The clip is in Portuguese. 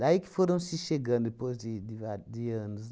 Daí que foram se chegando, depois de de vário de anos.